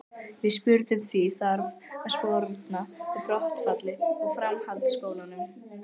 Við spurðum því, þarf að sporna við brottfalli úr framhaldsskólum?